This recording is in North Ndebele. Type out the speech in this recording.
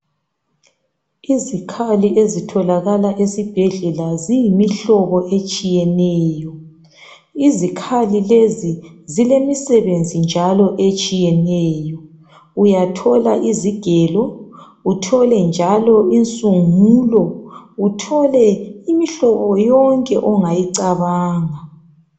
Izikhali ezitholakala esibhedlela ziyimihlobo etshiyeneyo izikhali lezi zilemisebenzi njalo etshiyeneyo uyathola izigelo uthole njalo insungulo uthole imihlobo yonke ongayicabanga.